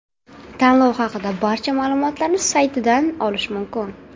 Tanlov haqida barcha ma’lumotlarni saytidan olish mumkin.